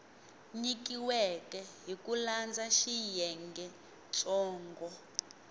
nyikiweke hi ku landza xiyengentsongo